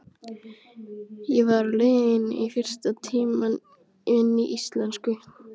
Ég var á leiðinni í fyrsta tímann minn í íslensku.